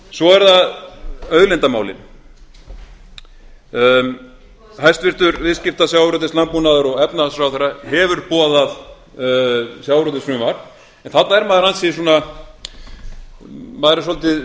svo eru það auðlindamálin hæstvirtur viðskipta sjávarútvegs landbúnaðar og efnahagsráðherra hefur boðað sjávarútvegsfrumvarp þarna er maður ansi svona maður er svolítið